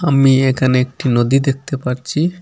আমি এখানে একটি নদী দেখতে পারচি ।